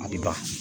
A bɛ ban